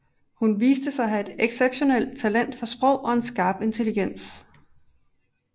Hun viste sig at have et exceptionelt talent for sprog og en skarp intelligens